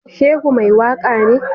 Shehu mai waka ne?